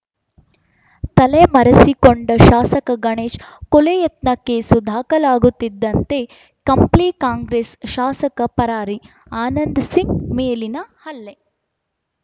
ತಲೆಮರೆಸಿಕೊಂಡ ಶಾಸಕ ಗಣೇಶ್‌ ಕೊಲೆಯತ್ನ ಕೇಸು ದಾಖಲಾಗುತ್ತಿದ್ದಂತೆ ಕಂಪ್ಲಿ ಕಾಂಗ್ರೆಸ್‌ ಶಾಸಕ ಪರಾರಿ ಆನಂದ್‌ ಸಿಂಗ್‌ ಮೇಲಿನ ಹಲ್ಲೆ